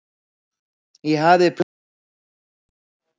Ég hafði plön um að breyta öllu.